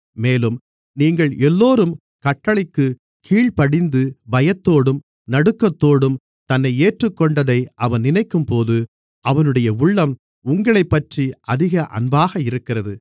மேலும் நீங்கள் எல்லோரும் கட்டளைக்குக் கீழ்ப்படிந்து பயத்தோடும் நடுக்கத்தோடும் தன்னை ஏற்றுக்கொண்டதை அவன் நினைக்கும்போது அவனுடைய உள்ளம் உங்களைப்பற்றி அதிக அன்பாக இருக்கிறது